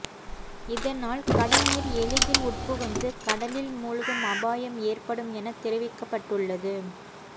இதனால் கடல்நீர் எளிதில் உட்புகுந்து கடலில் மூழ்கும் அபாயம் ஏற்படும் என தெரிவிக்கப்பட்டுள்ளது